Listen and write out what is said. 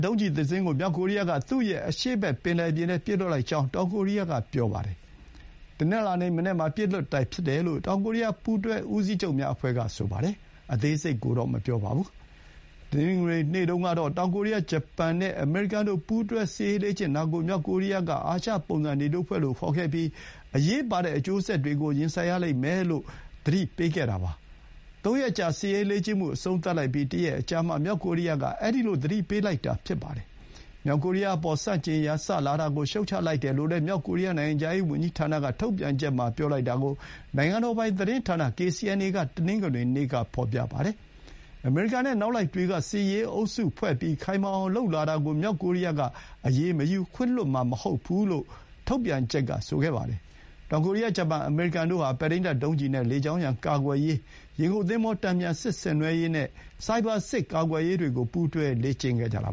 ဒုံးကျည်တစင်းကို မြောက်ကိုရီးယားက သူ့ရဲ့အရှေ့ဘက်ပင်လယ်ပြင်ထဲ ပစ်လွှတ်လိုက်ကြောင်း တောင်ကိုရီးယားက ပြောပါတယ်။ တနင်္လာနေ့ မနက်မှာပစ်လွှတ်တာဖြစ်တယ်လို့ တောင်ကိုရီးယား ပူတွဲဦးစီးချုပ်များအဖွဲ့က ပြောပါတယ်။ အသေးစိတ်ကိုတော့ မပြောပါဘူး။ တနင်္ဂနွေနေ့တုန်းကတော့ တောင်ကိုရီးယား၊ ဂျပန်နဲ့ အမေရိကန်တို့ ပူးတွဲစစ်ရေး လေ့ကျင့်ကြတာကို မြောက်ကိုရီးယားက အာရှပုံစံနေတိုးအဖွဲ့လို့ ခေါ်ခဲ့ပြီး အရေးပါတဲ့အကျိုးဆက်တွေကို ရင်ဆိုင်ရလိမ့်မယ်လို့ တနင်္ဂနွေနေ့က သတိပေးခဲ့တာပါ။ သုံးရက်ကြာစစ်ရေးလေ့ကျင့်မှု အဆုံးသတ်လိုက်ပြီး တရက်အကြာမှာ မြောက်ကိုရီးယားက ခုလို သတိပေးလိုက်တာဖြစ်ပါတယ်။ မြောက်ကိုရီးယားအပေါ် ဆန့်ကျင်ရန်စလာတာကို ရှုတ်ချလိုက်တယ်လို့ မြောက်ကိုရီးယား နိုင်ငံခြားရေးဝန်ကြီးဌာနထုတ်ပြန်ချက်မှာ ပြောတာကို နိုင်ငံတော်ပိုင်သတင်းဌာန KCNA က တနင်္ဂနွေနေ့က ဖော်ပြပါတယ်။ အမေရိကန်နဲ့ နောက်လိုက်တွေက စစ်ရေးအုပ်စုဖွဲ့ပြီး ခိုင်မာအောင်လုပ်လာတာကို မြောက်ကိုရီးယားက အရေးမယူမှာ၊ ခွင့်လွှတ်မှာ မဟုတ်ဘူးလို့လည်း ထုတ်ပြန်ချက်က ဆိုခဲ့ပါတယ်။ တောင်ကိုရီးယား၊ ဂျပန်၊ အမေရိကန်တို့ဟာ ပဲ့ထိန်းတပ်ဒုံးကျည်နဲ့ လေကြောင်းရန် ကာကွယ်ရေး၊ ရေငုပ်သင်္ဘော တန်ပြန်စစ်ဆင်နွှဲရေးနဲ့ ဆိုင်ဘာစစ် ကာကွယ်ရေးတွေကို ပူးတွဲလေ့ကျင့်ခဲ့ကြတာ